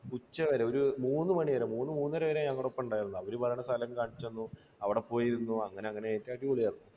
ഉച്ചവരെ, ഒരു മൂന്നുമണിവരെ, മൂന്നര വരെ ഞങ്ങളുടെ ഒപ്പം ഉണ്ടായിരുന്നു. അവർ പറയണ സ്ഥലം കാണിച്ചുതന്നു.